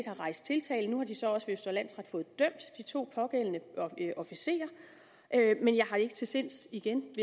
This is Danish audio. har rejst tiltale og nu har de så også ved østre landsret fået dømt de to pågældende officerer men jeg har ikke til sinds igen